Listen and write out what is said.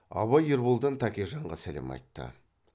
абай ерболдан тәкежанға сәлем айтты